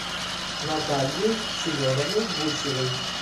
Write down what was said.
натальей семеновной гусевой